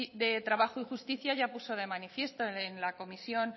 de trabajo y justicia ya puso de manifiesto en la comisión